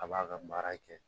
A b'a ka baara kɛ